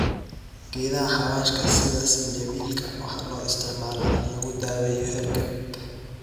Geedaha xawaashka sida zanjabil waxay loo isticmaalaa in lagu daaweeyo hargab.